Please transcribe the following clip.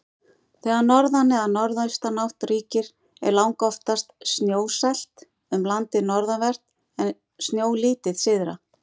Þegar norðan- eða norðaustanátt ríkir er langoftast snjóasælt um landið norðanvert, en snjólítið syðra.